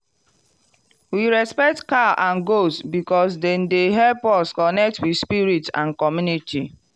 we respect cow and goat because dem dey help us connect with spirit and community.